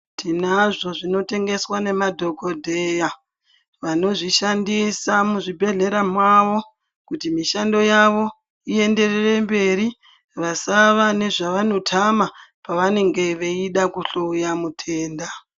Tinazvo zvinotengeswa ngemadhogodheya vanozvishandisa muzvibhedhlera mwavo. Kuti mishando yavo ienderere mberi vasava nezvavanotama pavanenge veida kuhloya mutenda.